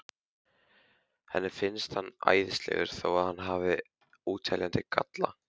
Henni finnst hann æðislegur þó að hann hafi óteljandi galla.